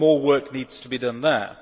More work needs to be done there.